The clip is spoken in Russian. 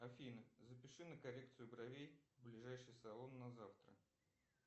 афина запиши на коррекцию бровей в ближайший салон на завтра